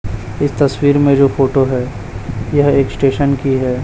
इस तस्वीर में जो फोटो है यह एक स्टेशन की है।